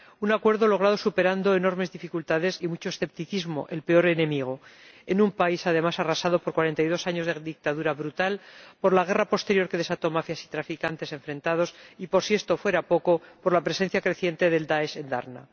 Un acuerdo logrado superando enormes dificultades y mucho escepticismo —el peor enemigo— en un país, además, arrasado por cuarenta y dos años de dictadura brutal, por la guerra posterior que desató mafias y traficantes enfrentados y, por si esto fuera poco, por la presencia creciente del Daesh en Darna.